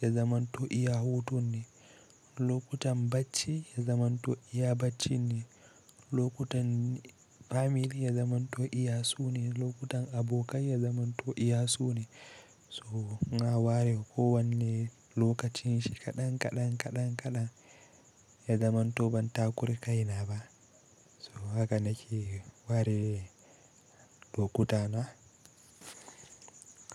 ya zamanto iya hutun ne. Lokutan bacci ya zamanto iya bacci ne. Lokutan family ya zamanto iya su ne. Lokutan abokai ya zamanto iya su ne. So na ware kowane lokacin shi kaɗan kaɗan kaɗan kaɗan ya zamanto ban takura kai na ba. So haka nake ware lokutana.